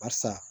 Barisa